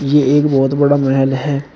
यह एक बहोत बड़ा महल है।